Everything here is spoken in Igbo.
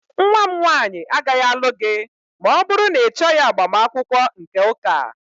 Nwa m nwanyị agaghị alụ gị ma ọ bụrụ na ịchọghị agbamakwụkwọ nke ụka